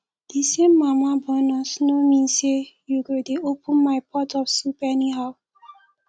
the same mama born us no mean say you go dey open my pot of soup anyhow